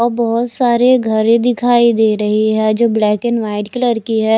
अ बहोत सारे घरे दिखाई दे रही है जो ब्लैक एंड व्हाइट कलर की है।